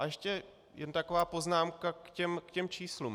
A ještě jen taková poznámka k těm číslům.